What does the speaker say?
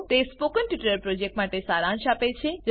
તે spoken tutorial પ્રોજેક્ટનો સારાંશ આપે છે